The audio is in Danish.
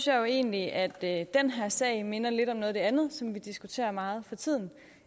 jo egentlig at den her sag minder lidt om noget af det andet som vi diskuterer meget for tiden